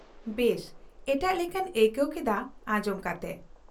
-ᱵᱮᱥ ᱮᱴᱟᱜ ᱞᱮᱠᱟᱹᱧ ᱟᱹᱭᱠᱟᱹᱣ ᱠᱮᱫᱟ ᱟᱸᱡᱚᱢ ᱠᱟᱛᱮ ᱾